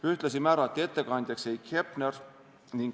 Ühtlasi määrati ettekandjaks Heiki Hepner.